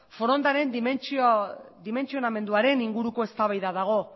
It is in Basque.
forondaren dimentsionamenduaren inguruko eztabaida dago